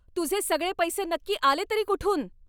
तुझे सगळे पैसे नक्की आले तरी कुठून?